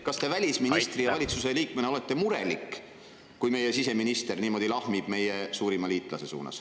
… kas te välisministri ja valitsuse liikmena olete murelik, kui meie siseminister niimoodi lahmib meie suurima liitlase suunas.